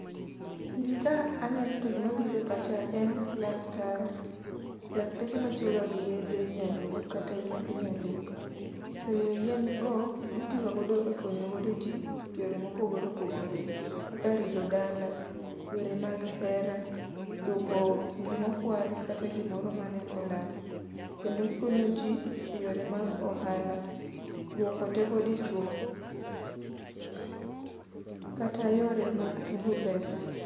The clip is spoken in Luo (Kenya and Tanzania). Gini ka aneno to gima biro e pacha en laktar. Lakteche matiyoga gi yiedhe nyaluo kata yiend nyaluo, be yien go gitiyoga godo ekonyo godo ji eyore mopogore opogore kaka yore mag here, rito dala, duoko gima okwal kata gimoro mayande olal. Kendo gikonyoji eyore mag ohala, duoko teko dichuo kata yore mag tugo pesa.